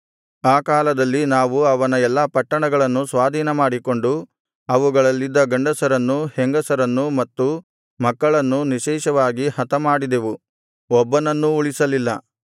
ಆ ಕಾಲದಲ್ಲಿ ನಾವು ಅವನ ಎಲ್ಲಾ ಪಟ್ಟಣಗಳನ್ನು ಸ್ವಾಧೀನಮಾಡಿಕೊಂಡು ಅವುಗಳಲ್ಲಿದ್ದ ಗಂಡಸರನ್ನೂ ಹೆಂಗಸರನ್ನು ಮತ್ತು ಮಕ್ಕಳನ್ನೂ ನಿಶ್ಶೇಷವಾಗಿ ಹತಮಾಡಿದೆವು ಒಬ್ಬನನ್ನೂ ಉಳಿಸಲಿಲ್ಲ